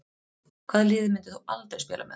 Hvaða liði myndir þú aldrei spila með?